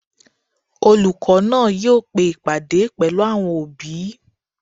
Olùkọ́ náà yóò pe ìpàdé pẹ̀lú àwọn òbí